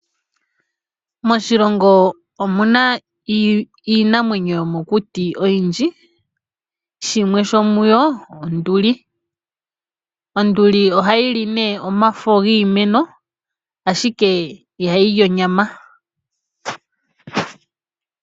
Moshilongo omuna iinamwenyo yomokuti oyindji, shimwe sho muyo onduli. Onduli ohayi li ne omafo giimeno, ashike ihayi li onyama.